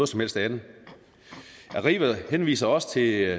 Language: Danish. som helst andet arriva henviser også til